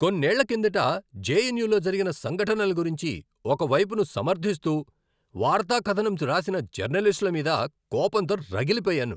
కొన్నేళ్ళ కిందట జెఎన్యులో జరిగిన సంఘటనల గురించి ఒక వైపును సమర్ధిస్తూ వార్తాకథనం రాసిన జర్నలిస్టుల మీద కోపంతో రగిలిపోయాను.